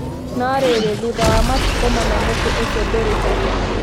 No rĩrĩ, thutha wa matukũ mana, mũtĩ ũcio ndũrĩ ho.